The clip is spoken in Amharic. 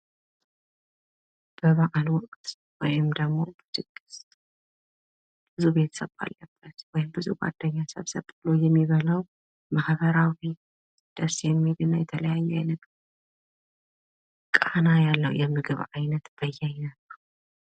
በባዕል ወቅት ወይም ድግስ ብዙ ቤተሰብ ባለበት ወይም ደሞ ብዙ ጓድኛ ሰብሰብ ብሎ የሚበላው ማህበራዊ ደስ የሚልና የተለያየ አይነት ቃና ያለው የምግብ ይነት በያይነትነው።